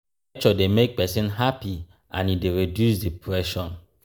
nature de make persin happy and e de reduce depression